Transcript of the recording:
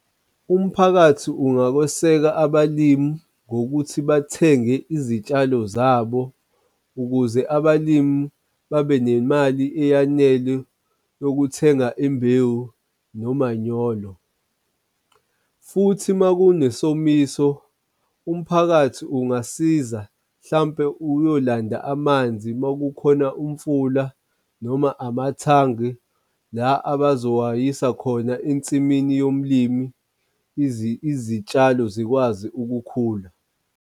Umphakathi ungakweseka abalimi ngokuthi bathenge izitshalo zabo ukuze abalimi babe nemali eyanele yokuthenga imbewu nomanyolo. Futhi, uma kunesomiso, umphakathi ungasiza hlampe uyolanda amanzi makukhona umfula noma amathangi la abazowayisa khona ensimini yomlimi izitshalo zikwazi ukukhula.